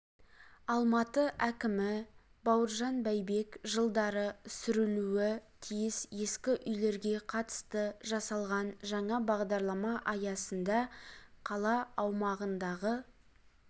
алматы әкімі бауыржан байбек жылдары сүрілуі тиіс ескі үйлерге қатысты жасалған жаңа бағдарлама аясында қала аумағындағы